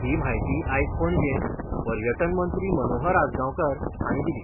ही म्हायती आयज पणजेंत पर्यटन मंत्री मनोहर आजगांवकार हांणी दिली.